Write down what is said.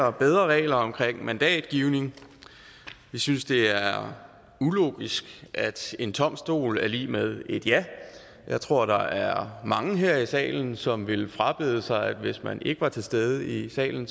og bedre regler omkring mandatgivning vi synes det er ulogisk at en tom stol er lig med et ja jeg tror der er mange her i salen som ville frabede sig at hvis man ikke var til stede i salen